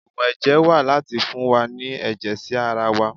Ògùn ẹ̀jẹ̀ wà láti fún wa ní ẹ̀jẹ̀ sí ara wa.